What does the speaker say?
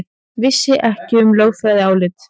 Vissi ekki um lögfræðiálit